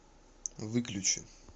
выключи